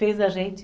Fez a gente...